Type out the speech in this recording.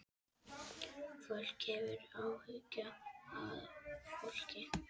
Fólk hefur áhuga á fólki.